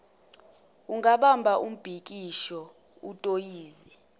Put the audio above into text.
ungabamba umbhikisho utoyize